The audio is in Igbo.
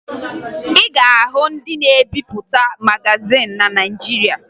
Ị ga-ahụ ndị na-ebipụta magazin na Naịjirịa